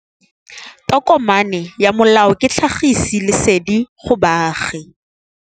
Tokomane ya molao ke tlhagisi lesedi go baagi.